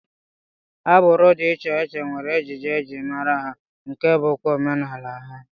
Agbụrụ dị iche iche nwere ejiji e ji mara ha nke bụkwa omenala ha